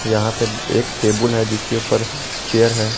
यहां पे एक टेबुल है जिसके ऊपर चेयर है।